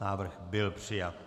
Návrh byl přijat.